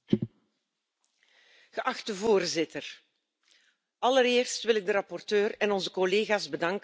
Voorzitter, allereerst wil ik de rapporteur en onze collega's bedanken voor dit mooie resultaat.